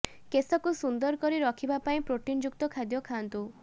କେଶକୁ ସୁନ୍ଦର କରି ରଖିବା ପାଇଁ ପ୍ରୋଟିନ୍ ଯୁକ୍ତ ଖାଦ୍ୟ ଖାଆନ୍ତୁ